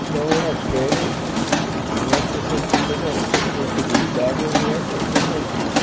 Então, eu nas férias vinha para san toda possibilidade, eu vinha para Santa Cruz.